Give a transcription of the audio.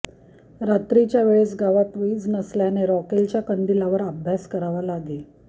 रात्रीच्या वेळेस गावात वीज नसल्याने रॉकेलच्या कंदिलावर अभ्यास करावा लागे